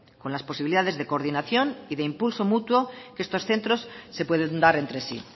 con las posibilidades de coordinación y de impulso mutuo que estos centros se pueden dar entre sí